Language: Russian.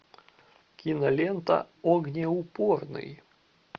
кинолента огнеупорный